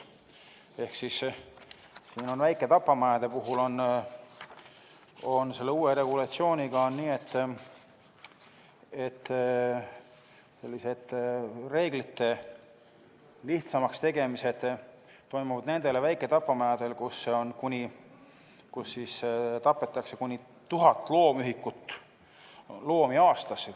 Ehk siis väiketapamajade puhul on selle uue regulatsiooniga nii, et sellised reeglite lihtsamaks tegemised on toimunud nendel väiketapamajadel, kus tapetakse kuni 1000 loomühikut aastas.